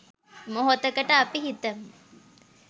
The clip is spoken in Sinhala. මොහොතකට අපි හිතමු